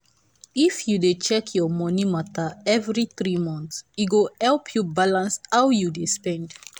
if you dey check your money matter every three months e go help you balance how you dey spend.